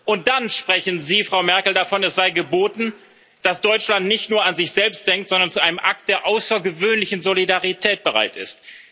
Und dann sprechen Sie, Frau Merkel, davon, es sei geboten, dass Deutschland nicht nur an sich selbst denkt, sondern zu einem Akt der außergewöhnlichen Solidarität bereit ist.